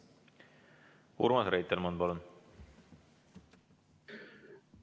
Urmas Reitelmann, palun!